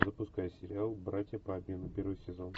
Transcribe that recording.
запускай сериал братья по обмену первый сезон